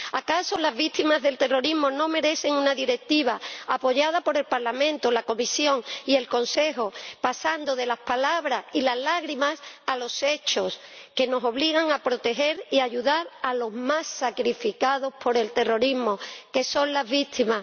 ¿Acaso las víctimas del terrorismo no merecen una Directiva apoyada por el Parlamento, la Comisión y el Consejo, que nos permita pasar de las palabras y las lágrimas a los hechos, que nos obligue a proteger y ayudar a los más sacrificados por el terrorismo, que son las víctimas?